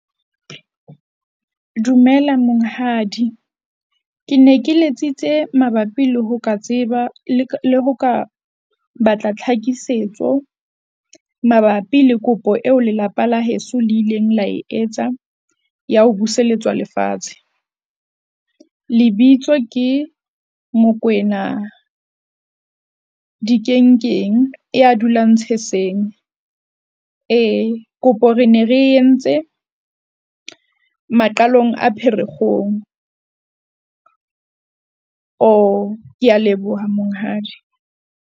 Dumela monghadi. Ke ne ke letsitse mabapi le ho ka tseba le ho ka batla tlhakisetso mabapi le kopo eo lelapa la heso le ileng la e etsa ya ho buseletswa lefatshe. Lebitso ke Mokoena Dikenkeng ya dulang Tsheseng. Ee kopo ne re entse maqalong a Pherekgong. O kea leboha monghadi.